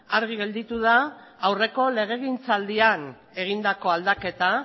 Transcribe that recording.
argi gelditu da aurreko legegintzaldian egindako aldaketa